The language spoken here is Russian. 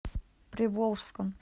приволжском